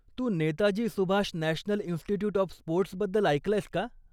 Tu Netaji Subhash national institute of sports बद्दल ऐकलंयस का?